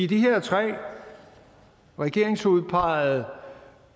de her tre regeringsudpegede